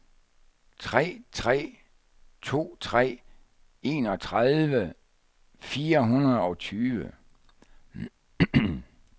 tre tre to tre enogtredive fire hundrede og tyve